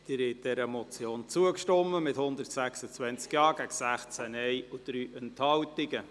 Sie haben dieser Motion zugestimmt, mit 126 Ja- gegen 16 Nein-Stimmen und 3 Enthaltungen.